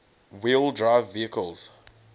wheel drive vehicles